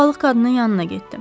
O balıq qadının yanına getdim.